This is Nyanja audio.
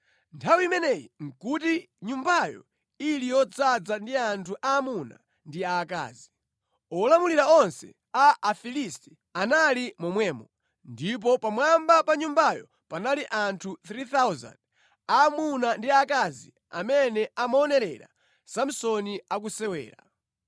Nthawi imeneyi nʼkuti nyumbayo ili yodzaza ndi anthu aamuna ndi aakazi. Olamulira onse a Afilisti anali momwemo, ndipo pamwamba pa nyumbayo panali anthu 3,000 aamuna ndi aakazi amene amaonerera Samsoni akusewera.